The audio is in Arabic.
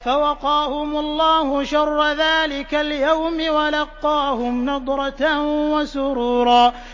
فَوَقَاهُمُ اللَّهُ شَرَّ ذَٰلِكَ الْيَوْمِ وَلَقَّاهُمْ نَضْرَةً وَسُرُورًا